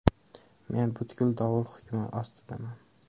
Men butkul dovul hukmi ostidaman.